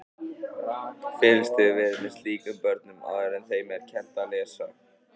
Fylgst hefur verið með slíkum börnum áður en þeim er kennt að lesa.